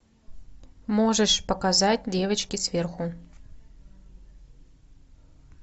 можешь показать девочки сверху